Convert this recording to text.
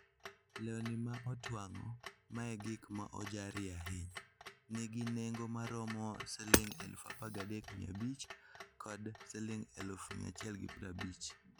Lewni ma otwang'o, ma e gik ma ojarie ahinya, nigi nengo maromo Sh13,500 kod Sh150,000.